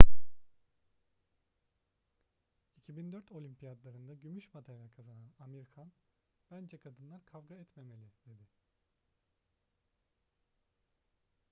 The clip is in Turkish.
2004 olimpiyatlarında gümüş madalya kazanan amir khan bence kadınlar kavga etmemeli dedi